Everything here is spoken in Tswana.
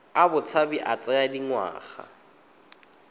a botshabi a tsaya dingwaga